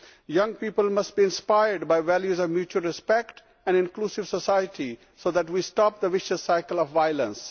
Young people must be inspired by values of mutual respect and inclusive society so that we stop the vicious cycle of violence.